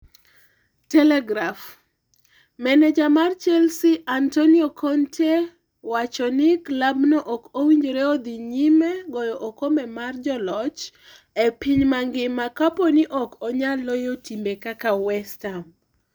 (Telegraph) Maneja mar Chelsea Antonio Conte wacho ni klab no ok owinjore odhi nyime goyo okombe mar Joloch e piny mangima kapo ni ok onyal loyo timbe kaka West Ham.